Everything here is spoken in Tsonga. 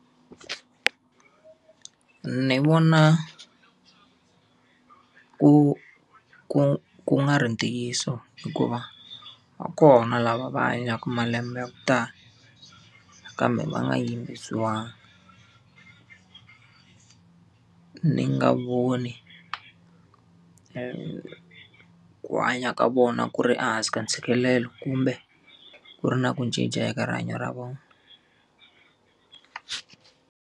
Ni vona ku ku ku nga ri ntiyiso hikuva, va kona lava va hanyaka malembe ya ku tala kambe va nga yimbisiwangi ni voni ku hanya ka vona ku ri ehansi ka ntshikelelo, kumbe ku ri na ku cinca eka rihanyo ra vona.